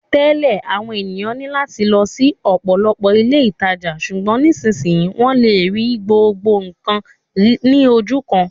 Tẹ́lẹ̀, àwọn ènìyàn ní láti lọ sí ọ̀pọ̀lọpọ̀ ilé ìtajà, ṣùgbọ́n nísinsìnyí, wọ́n lè rí gbogbo nǹkan ní ojú kan